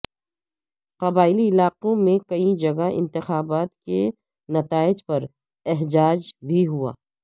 قبائلی علاقوں میں کئی جگہ انتخابات کے نتائج پر احجاج بھی ہوا